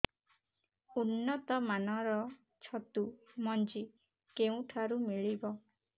ଉନ୍ନତ ମାନର ଛତୁ ମଞ୍ଜି କେଉଁ ଠାରୁ ମିଳିବ